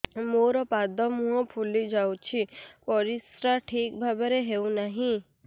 ମୋର ପାଦ ମୁହଁ ଫୁଲି ଯାଉଛି ପରିସ୍ରା ଠିକ୍ ଭାବରେ ହେଉନାହିଁ